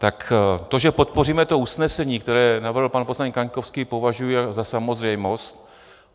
Tak to, že podpoříme to usnesení, které navrhl pan poslanec Kaňkovský, považuji za samozřejmost.